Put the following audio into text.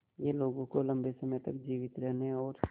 यह लोगों को लंबे समय तक जीवित रहने और